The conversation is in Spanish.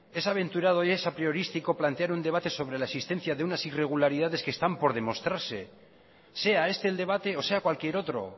es aventurado y es apriorístico plantear un debate sobre la existencia de unas irregularidades que están por demostrarse sea este el debate o sea cualquier otro